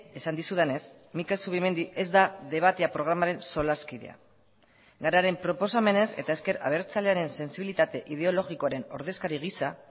esan dizudanez mikel zubimendi ez da debatea programaren solaskidea gararen proposamenez eta ezker abertzalearen sentsibilitate ideologikoaren ordezkari giza